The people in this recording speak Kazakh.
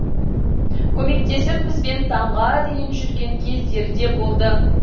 көмектесіп бізбен таңға дейін жүрген кездері де болды